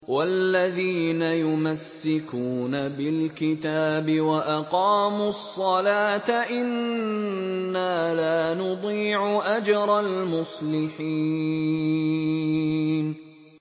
وَالَّذِينَ يُمَسِّكُونَ بِالْكِتَابِ وَأَقَامُوا الصَّلَاةَ إِنَّا لَا نُضِيعُ أَجْرَ الْمُصْلِحِينَ